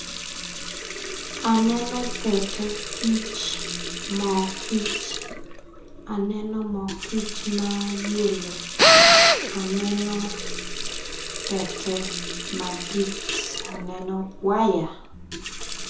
Aneno pete kic moo kic aneno moo kic ma yelo aneno pete madit mayelo aneno waya.